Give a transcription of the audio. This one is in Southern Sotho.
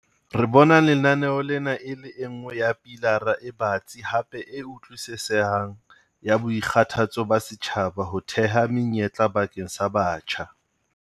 Re bona lenaneo lena e le e nngwe ya pilara e batsi hape e utlwisisehang ya boikgathatso ba setjhaba ho theha menyetla bakeng sa batjha.